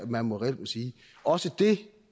man reelt må sige også det